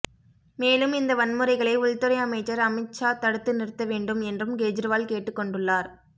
மேலும் இந்த வன்முறைகளை உள்துறை அமைச்சர் அமித்ஷா தடுத்து நிறுத்த வேண்டும் என்றும் கெஜ்ரிவால் கேட்டுக் கொண்டுள்ளார்